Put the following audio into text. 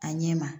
A ɲɛ ma